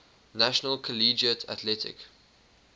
national collegiate athletic